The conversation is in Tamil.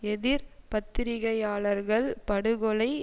எதிர் பத்திரிகையாளர்கள் படுகொலை